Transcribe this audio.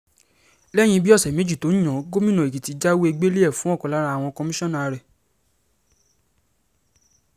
lẹ́yìn bíi ọ̀sẹ̀ méjì tó yan án gómìnà èkìtì jáwèé-gbẹ́lẹ̀ ẹ̀ fún ọ̀kan lára àwọn kọmíṣánná rẹ̀